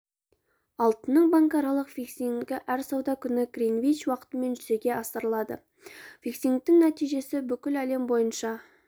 алтынның банкаралық фиксингі әр сауда күні гринвич уақытымен және жүзеге асырылады фиксингтің нәтижесі бүкіл әлем бойынша